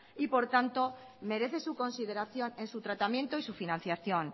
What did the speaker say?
y por tanto merece su consideración en su tratamiento y su financiación